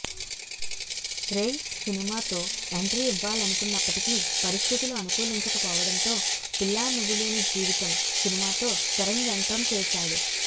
రేయ్ సినిమాతో ఎంట్రీ ఇవ్వాలనుకున్నప్పటికీ పరిస్థితులు అనుకూలించకపోవడంతో పిల్లానువ్వులేని జీవితం సినిమాతో తెరంగేట్రం చేశాడు